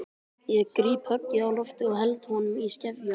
Ég gríp höggið á lofti og held honum í skefjum.